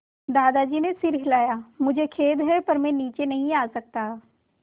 दादाजी ने सिर हिलाया मुझे खेद है पर मैं नीचे नहीं आ सकता